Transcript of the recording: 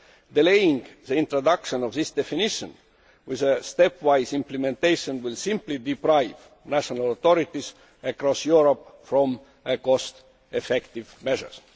Delaying the introduction of this definition with a stepwise implementation will simply deprive national authorities across Europe of cost effective measures.